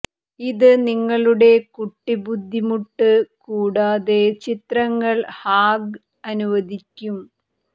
ഇത് നിങ്ങളുടെ കുട്ടി ബുദ്ധിമുട്ട് കൂടാതെ ചിത്രങ്ങൾ ഹാംഗ് അനുവദിക്കും